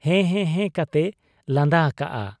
ᱦᱮᱸ ᱦᱮᱸ ᱦᱮᱸ ᱠᱟᱛᱮᱭ ᱞᱟᱸᱫᱟ ᱟᱠᱟᱜ ᱟ ᱾'